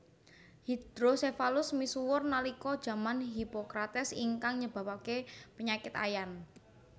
Hydrocephalus misuwur nalika jaman Hipocrates ingkang nyebabaken penyakit Ayan